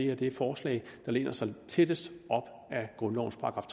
er det forslag der læner sig tættest op ad grundlovens §